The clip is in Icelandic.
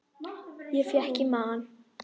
Ég fékk í magann.